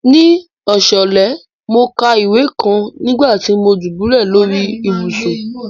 Ní ọ̀ṣalẹ̀, mo ká ìwé kàn nígbàtí mo dúbúlẹ̀ lórí ìbùṣún.